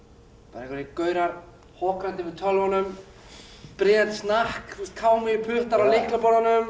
bara einhverjir gaurar hokrandi yfir tölvunum bryðjandi snakk puttar á